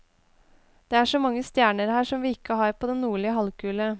Det er så mange stjerner her som vi ikke har på den nordlige halvkule.